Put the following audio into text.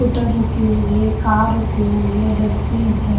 कूटर रुकी हुई है कार रुकी हुई है डेस्टबिन है।